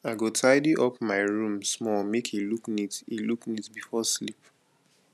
i go tidy up my room small make e look neat e look neat before sleep